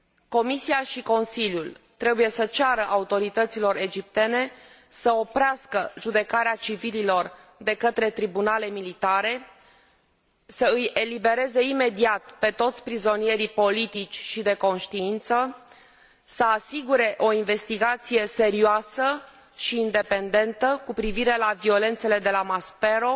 Comisia și Consiliul trebuie să ceară autorităților egiptene să oprească judecarea civililor de către tribunale militare, să îi elibereze imediat pe toți prizonierii politici și de conștiință, să asigure o investigație serioasă și independentă cu privire la violențele de la Maspero